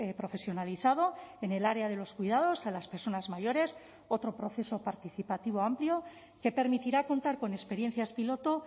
profesionalizado en el área de los cuidados a las personas mayores otro proceso participativo amplio que permitirá contar con experiencias piloto